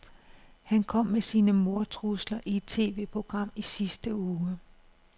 Han kom med sine mordtrusler i et TVprogram i sidste uge.